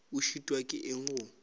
o šitwa ke eng go